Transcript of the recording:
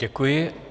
Děkuji.